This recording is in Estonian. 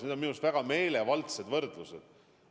Need on minu arust väga meelevaldsed võrdlused.